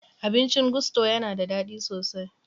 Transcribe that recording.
Abincin Gusto ya na da daɗi sosai.